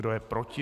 Kdo je proti?